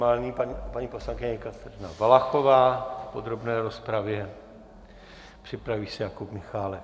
Nyní paní poslankyně Kateřina Valachová v podrobné rozpravě, připraví se Jakub Michálek.